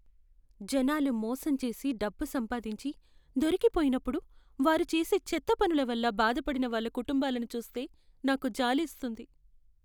జనాలు మోసం చేసి డబ్బు సంపాదించి, దొరికిపోయినప్పుడు, వారు చేసే చెత్త పనుల వల్ల బాధపడిన వాళ్ళ కుటుంబాలను చూస్తే నాకు జాలేస్తుంది.